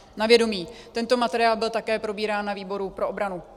Tento materiál byl také probírán na výboru pro obranu.